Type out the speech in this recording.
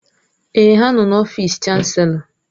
Èè, ha nọ n'ọfịs Chanselọ